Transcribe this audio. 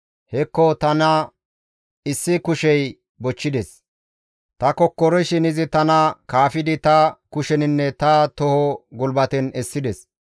Hekko tana issi kushey bochchides; ta kokkorishin izi tana kaafidi ta kusheninne ta toho gulbaten essides.